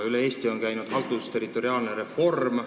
Üle Eesti on käinud haldusterritoriaalne reform.